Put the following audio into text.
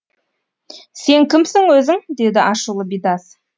сен кімсің өзің деді ашулы бидас